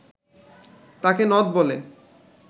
তাকে নথ বলে